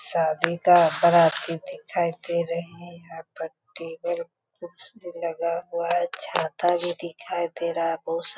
शादी का बाराती दिखाई दे रहे हैं | यहाँ पर टेबल कुर्सी लगा हुआ है छाता भी दिखाई दे रहा है बहुत सा --